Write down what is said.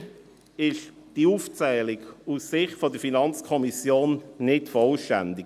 Leider ist diese Aufzählung aus Sicht der FiKo nicht vollständig.